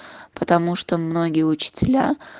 потому что многие учителя